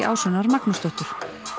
Ásrúnar Magnúsdóttur